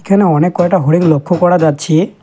এখানে অনেক কয়টা হরিণ লক্ষ্য করা যাচ্ছে।